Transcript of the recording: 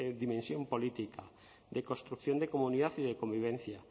dimensión política de construcción de comunidad y de convivencia